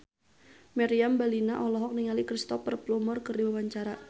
Meriam Bellina olohok ningali Cristhoper Plumer keur diwawancara